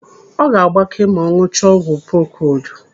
Ọ ga-agbake ma ọ ṅụchaa ọgwụ prokodu.